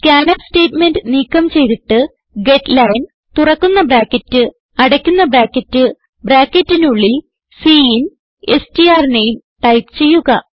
scanf statement നീക്കം ചെയ്തിട്ട് getline തുറക്കുന്ന ബ്രാക്കറ്റ് അടയ്ക്കുന്ന ബ്രാക്കറ്റ് ബ്രാക്കറ്റിനുള്ളിൽ സിൻ സ്ട്ര്നേം ടൈപ്പ് ചെയ്യുക